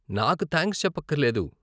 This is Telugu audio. నాకు థాంక్స్ చెప్పక్కరలేదు .